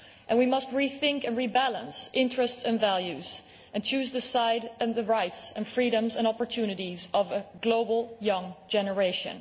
We must rethink and rebalance interests and values and choose the side and the rights, freedoms and opportunities of a global young generation.